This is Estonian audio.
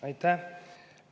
Aitäh!